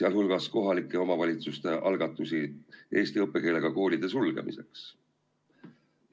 sealhulgas kohalike omavalitsuste algatusi eesti õppekeelega koolide sulgemiseks?